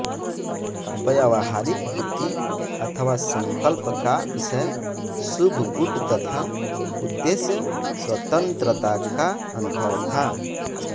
व्यावहारिक बुद्धि अथवा संकल्प का विषय शुभ गुड तथा उद्देश्य स्वतंत्रता का अनुभव था